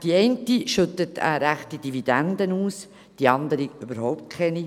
die eine schüttet eine ansehnliche Dividende aus, die andere überhaupt keine.